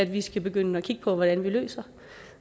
vi skal begynde at kigge på hvordan vi løser